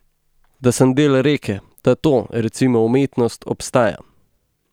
Da sem del reke, da to, recimo umetnost, obstaja.